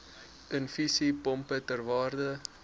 infusiepompe ter waarde